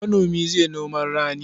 Manomi zai noman rani.